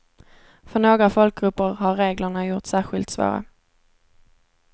För några folkgrupper har reglerna gjorts särskilt svåra.